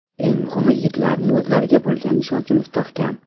Eng muhimi, yigitlarning o‘zlariga bo‘lgan ishonchi mustahkam.